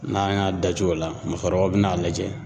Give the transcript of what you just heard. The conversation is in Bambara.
N'an y'a daco o la , musokɔrɔbaw bɛ n'a lajɛ.